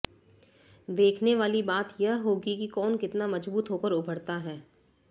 देखने वाली बात यह होगी कि कौन कितना मजबूत होकर उभरता है